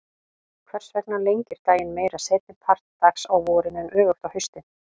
Hvers vegna lengir daginn meira seinni part dags á vorin en öfugt á haustin?